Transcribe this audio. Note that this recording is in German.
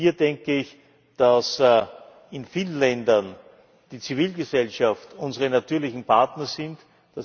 Hier denke ich, dass in vielen Ländern die Zivilgesellschaft unser natürlicher Partner ist.